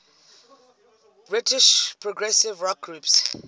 british progressive rock groups